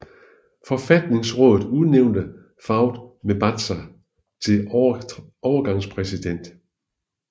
Forfatningsrådet udnævnte Fouad Mebazaa til overgangspræsident